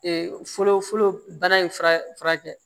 fɔlɔ fɔlɔ bana in fura furakɛ